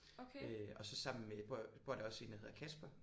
Øh og så sammen med bor bor der også en der hedder Kasper